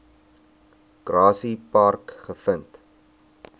grassy park gevind